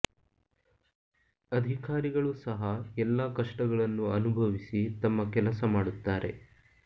ಅಧಿಕಾರಿಗಳು ಸಹ ಎಲ್ಲಾ ಕಷ್ಟಗಳನ್ನು ಅನುಭವಿಸಿ ತಮ್ಮ ಕೆಲಸ ಮಾಡುತ್ತಾರೆ